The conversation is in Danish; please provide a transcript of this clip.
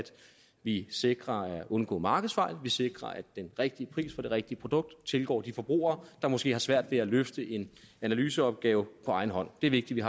vi sikrer at undgå markedsfejl at vi sikrer at den rigtige pris for det rigtige produkt tilgår de forbrugere der måske har svært ved at løfte en analyseopgave på egen hånd det er vigtigt at